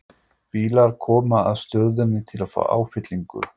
Bílar koma að stöðinni til að fá áfyllingu.